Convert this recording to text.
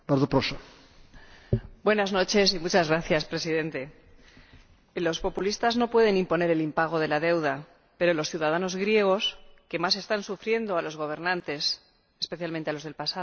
Señor Presidente, los populistas no pueden imponer el impago de la deuda, pero los ciudadanos griegos que más están sufriendo a los gobernantes, especialmente a los del pasado, necesitan un alivio.